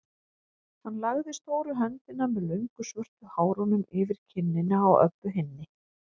Hann lagði stóru höndina með löngu svörtu hárunum yfir kinnina á Öbbu hinni.